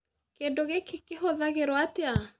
Kĩndũ gĩkĩ kĩhũthagĩrwo atĩa?